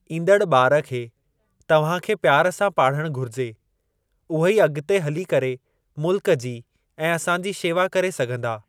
ईंदड़ु ॿारु खे तव्हांखे प्यार सां पाढ़णु घुरिजे, उहे ई अगि॒ते हली करे मुल्क जी ऐं असांजी शेवा करे सघंदा।